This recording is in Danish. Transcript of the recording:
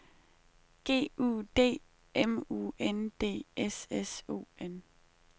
G U D M U N D S S O N